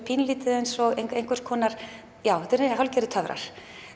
pínulítið eins og einhvers konar já þetta eru töfrar